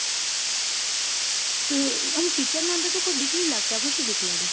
અમ ટીચર ની અંદર તો કઈ બીક નથી સુ બીક લાગે